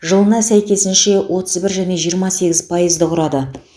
жылына сәйкесінше отыз бір және жиырма сегіз пайызды құрады